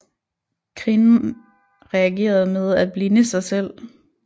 Kvinden reagerede med at blinde sig selv